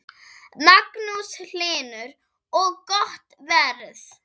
Magnús Hlynur: Og gott verð?